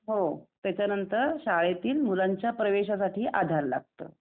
हो, त्याच्यानंतर शाळेतील परीक्षा प्रवेशासाठी आधार लागतं.